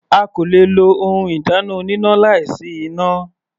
A kò le lo ohun ìdáná oníná láì sí iná.